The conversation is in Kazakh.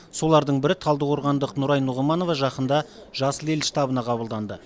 солардың бірі талдықорғандық нұрай нұғыманова жақында жасыл ел штабына қабылданды